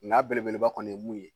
N'a belebeleba kɔni ye mun ye